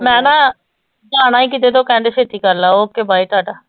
ਮੈਂ ਨਾ ਜਾਣਾ ਸੀ ਕਿਤੇ ਤੇ ਉਹ ਕਹਿੰਦੇ ਛੇਤੀ ਕਰ ਲਾ okay bye ਟਾਟਾ।